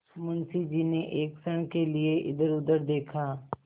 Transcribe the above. मुंशी जी ने एक क्षण के लिए इधरउधर देखा